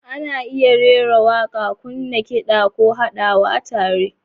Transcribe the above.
Ana iya rera waƙa, kunna kida, ko haɗawa tare.